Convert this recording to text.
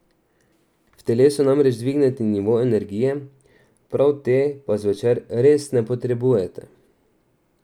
V telesu namreč dvigne nivo energije, prav te pa zvečer res ne potrebujete.